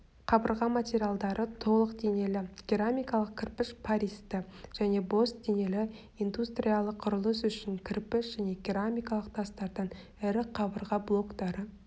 қабырға материалдары толық денелі керамикалық кірпіш пористі және бос денелі индустриялық құрылыс үшін кірпіш және керамикалық тастардан ірі қабырға блоктары